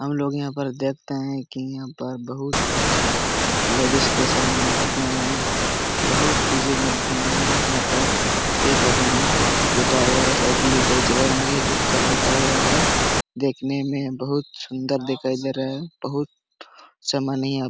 हमलोग यहा पर देखते है की यहा पर बहुत लेडीज के सामान मिलते है बहुत चीजे मिलते है यहा पर एक आदमी बैठा हुआ है सायद यह बेच रहे होंगे। जुककर बैठा हुआ है देखने में बहुत सुंदर दिखाई दे रहा है बहुत सामान है।